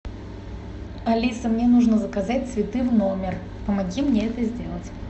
алиса мне нужно заказать цветы в номер помоги мне это сделать